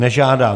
Nežádá.